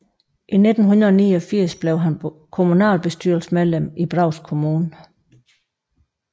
I 1989 blev han kommunalbestyrelsesmedlem i Brovst Kommune